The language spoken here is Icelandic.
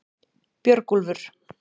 Björgúlfur